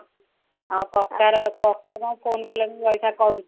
ଆଉ କକା ର କକା କଣ phone କଲେଣି ରହିଥା କରୁଛି